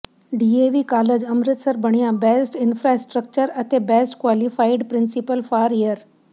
DAV college Amritsar ਬਣਿਆ best infrastructure ਅਤੇ best qualified principal for year